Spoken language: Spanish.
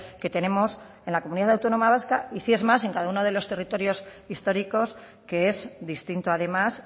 que tenemos en la comunidad autónoma vasca y si es más en cada uno de los territorios históricos que es distinto además